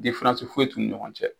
foyi t'u ni ɲɔgɔn cɛ.